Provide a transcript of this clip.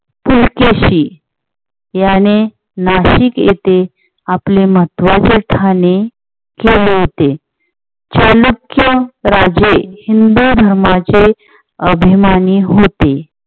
पुलकेशी याने नाशिक येथे आपले महत्वाचे ठाणे केले होते. चालुक्य राजे हिंद धर्माचे अभिमानी होते.